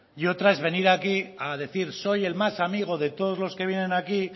y otra es venir aquí a decir soy el más amigo de todos los que vienen aquí